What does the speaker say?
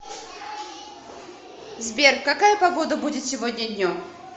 сбер какая погода будет сегодня днем